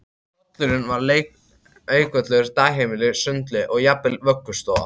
Pollurinn var leikvöllur, dagheimili, sundlaug og jafnvel vöggustofa